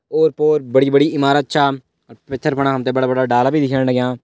ओर -पोर बड़ी बड़ी इमारत छ और पिथर पणा हम तैं बड़ा- बड़ा डाला भी दिखेण लग्यां।